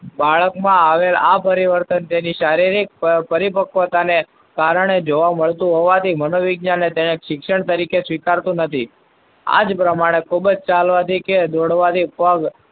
બાળકના આ પરિવર્તન તેની શારીરિક પરિપક્વતાને કારણે જોવા મળતું હોવાથી, મનોવિજ્ઞાનને તેને શિક્ષણ તરીકે સ્વીકારતું નથી. આ જ પ્રમાણે ખૂબ જ ચાલવાથી કે દોડવાથી પગ,